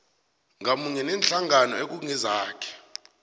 ngamunye neenhlangano ekungenzeka